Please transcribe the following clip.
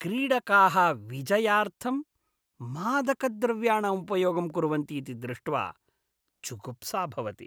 क्रीडकाः विजयार्थं मादकद्रव्याणाम् उपयोगं कुर्वन्ति इति दृष्ट्वा जुगुप्सा भवति।